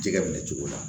Jɛgɛ minɛ cogo la